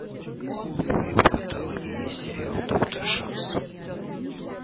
в твоем каталоге есть сериал доктор шанс